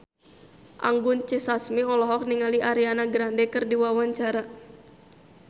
Anggun C. Sasmi olohok ningali Ariana Grande keur diwawancara